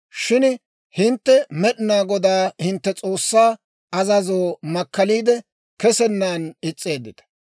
«Shin hintte Med'inaa Godaa hintte S'oossaa azazoo makkaliide, kesennan is's'eeddita.